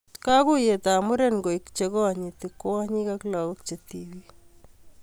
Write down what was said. Kakuiyetab muren koek chekonyitinyi kwonyik ak lagok che tibik